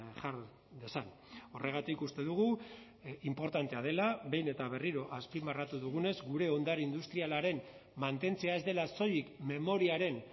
jar dezan horregatik uste dugu inportantea dela behin eta berriro azpimarratu dugunez gure ondare industrialaren mantentzea ez dela soilik memoriaren